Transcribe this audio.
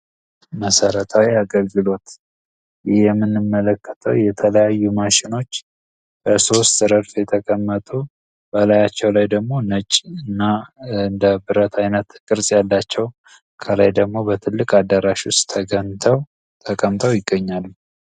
መሰረታዊ አገልግሎት ይህ የምንመለከተው የተለያዩ ማሽኖች በሶስት ረድፍ የተቀመጡ በላያቸው ላይ ደግሞ ነጭ እና እንደብረት አይነት ቅርፅ ያላቸው ከላይ ደግሞ በትልቅ አዳራሽ ውስጥ ተቀምጠው ይገኛሉ።